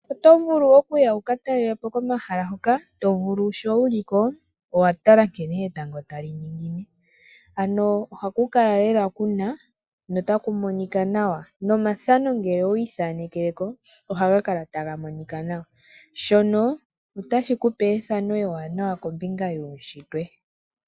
Oto vulu okuya wuka talelepo komahala hoka tovulu sho wu li ko owatala nkene etango ta li ningine. Ano ohaku kala lela kuna notaku monika nawa, nomathano ngele owiithanekeleko, ohaga kala taga monika nawa. Shono otashi kupe ethano ewanawa kombinga yuushitwe.